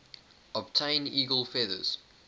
obtain eagle feathers